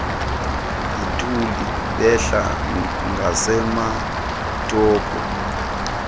yituli behla ngasematopo